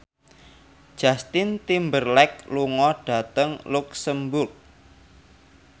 Justin Timberlake lunga dhateng luxemburg